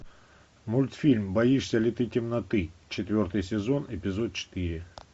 мультфильм боишься ли ты темноты четвертый сезон эпизод четыре